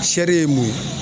Sɛri ye mun ye?